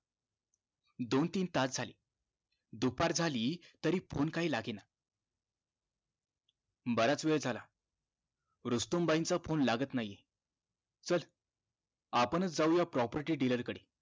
दोन तीन तास झाले दुपार झाली तरी phone काही लागेना बराच वेळ झाला रुस्तुम भाईंचा phone लागत नाही आहे चल आपण च जाऊया property dealer कडे